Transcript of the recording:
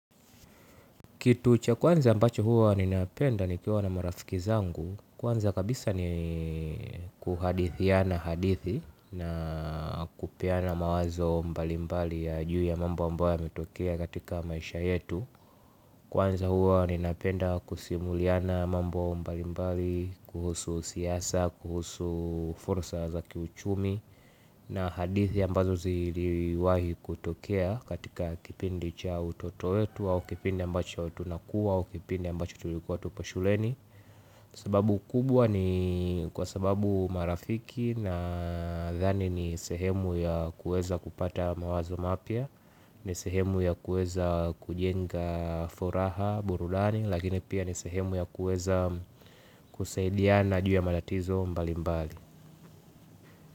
Kitu cha kwanza ambacho huwa ninapenda nikiwa na marafiki zangu, kwanza kabisa ni kuhadithiana hadithi na kupeana mawazo mbalimbali ya juu ya mambo ambayo yametokea katika maisha yetu. Kwanza hua ninapenda kusimuliana mambo mbalimbali, kuhusu siasa, kuhusu fursa za ki uchumi. Na hadithi ambazo ziliwahi kutokea katika kipindi cha utoto wetu au kipindi ambacho tunakuwa au kipindi ambacho tulikuwa tupo shuleni. Sababu kubwa ni kwa sababu marafiki nadhani ni sehemu ya kuweza kupata mawazo mapya. Ni sehemu ya kuweza kujenga furaha burudani. Lakini pia ni sehemu ya kuweza kusaidiana juu ya matatizo mbali mbali.